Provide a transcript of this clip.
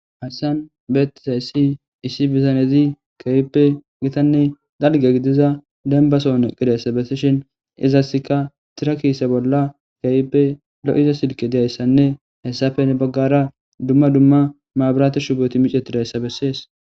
Haysan Be'etizaysi Essi Bitanezi Kehipe Gitane Dalga Gidiza Demba Soha Eqidaaysa Besishe Ezasika Tira Kise Bola Kehipe Lo'iza Silke Dizaysane Hesape Heni Bagara Duma Duma Mabrate Shuboy Miccetidaysa Beses